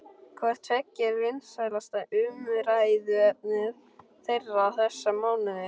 Hvort tveggja er vinsælasta umræðuefni þeirra þessa mánuði.